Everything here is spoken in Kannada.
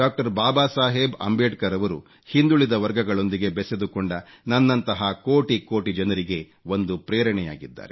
ಬಾಬಾ ಸಾಹೇಬ್ ಅಂಬೇಡ್ಕರ್ ರವರು ಹಿಂದುಳಿದ ವರ್ಗಗಳೊಂದಿಗೆ ಬೆಸೆದುಕೊಂಡ ನನ್ನಂಥಹ ಕೋಟಿ ಕೋಟಿ ಜನರಿಗೆ ಒಂದು ಪ್ರೇರಣೆಯಾಗಿದ್ದಾರೆ